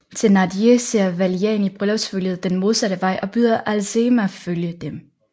Thénardier ser Valjean i bryllupsfølget den modsatte vej og byder Azelma følge dem